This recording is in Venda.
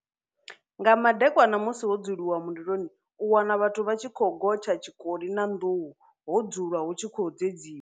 Nga madekwana musi ho dzulwa mililoni u wana vhathu vha tshi khou gotsha tshikoli na nduhu ho dzulwa hu tshi khou dzedziwa.